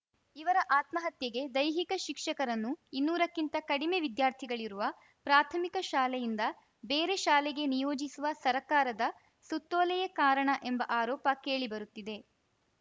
ಇವರ ಆತ್ಮಹತ್ಯೆಗೆ ದೈಹಿಕ ಶಿಕ್ಷಕರನ್ನು ಇನ್ನೂರಕ್ಕಿಂತ ಕಡಿಮೆ ವಿದ್ಯಾರ್ಥಿಗಳಿರುವ ಪ್ರಾಥಮಿಕ ಶಾಲೆಯಿಂದ ಬೇರೆ ಶಾಲೆಗೆ ನಿಯೋಜಿಸುವ ಸರ್ಕಾರದ ಸುತ್ತೋಲೆಯೇ ಕಾರಣ ಎಂಬ ಆರೋಪ ಕೇಳಿಬರುತ್ತಿದೆ